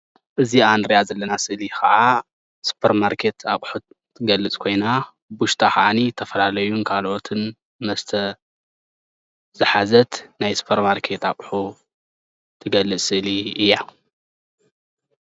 እዚኣ እንርእያ ዘለና ስእሊ ክዓ ስፖርማርኬት ኣቁሑት ትገልፅ ኮይና ውሽጣ ካዓኒ ንዝተፈላለዩ ካልኦትን መስተ ዝሓዘት ናይ ስፖርማርኬት ኣቁሑ ትገልፅ ስእሊ እያ።